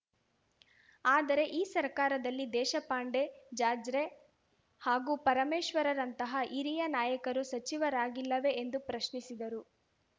ಆದರೆ ಈ ಸರ್ಕಾರದಲ್ಲಿ ದೇಶಪಾಂಡೆ ಜಾರ್ಜರೆ ಹಾಗೂ ಪರಮೇಶ್ವರ್‌ರಂತಹ ಹಿರಿಯ ನಾಯಕರು ಸಚಿವರಾಗಿಲ್ಲವೇ ಎಂದು ಅವರು ಪ್ರಶ್ನಿಸಿದರು